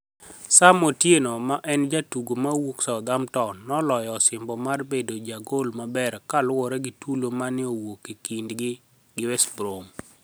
Saam otieno ma eni jatugo mawuok Southammptoni noloyo osimbo mar bedo ja gol maber kaluore gi tulo mani e owuok kinid 'gi gi west brom.